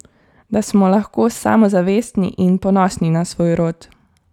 Da smo lahko samozavestni in ponosni na svoj rod.